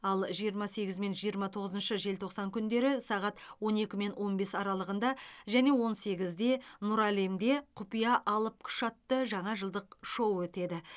ал жиырма сегізі мен жиырма тоғызыншы желтоқсан күндері сағат он екі мен он бес аралығында және он сегізде нұр әлемде құпия алып күш атты жаңа жылдық шоу өтеді